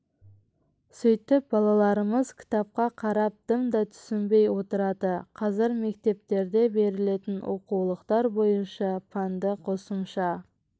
сөйтіп балаларымыз кітапқа қарап дым да түсінбей отырады қазір мектептерде берілетін оқулықтар бойынша пәнді қосымша